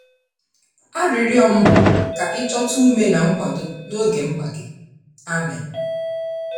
Arịrịọ m bụ ka i chọta ume na nkwado n’oge mkpa gị. Amen.